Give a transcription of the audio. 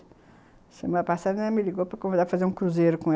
Uma semana passada, ela me ligou para convidar para fazer um cruzeiro com ela.